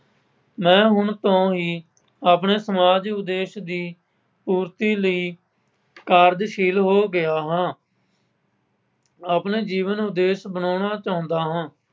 ਮੈਂ ਹੁਣ ਤੋਂ ਹੀ ਆਪਣੇ ਸਮਾਜ ਉਦੇਸ਼ ਦੀ ਪੂਰਤੀ ਲਈ ਕਾਰਜਸ਼ੀਲ ਹੋ ਗਿਆਂ ਹਾਂ ਆਪਣੇ ਜੀਵਨ ਉਦੇਸ਼ ਅਪਨਾਉਣਾ ਚਾਹੁੰਦਾ ਹਾਂ।